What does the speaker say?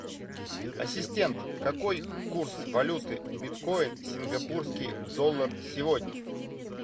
ассистент какой курс валюты биткоин сингапурский доллар сегодня